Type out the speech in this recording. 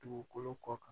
Dugukolo kɔ kan